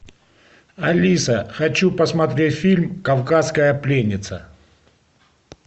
алиса хочу посмотреть фильм кавказская пленница